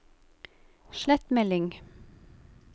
slett melding